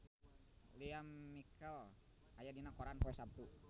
Lea Michele aya dina koran poe Saptu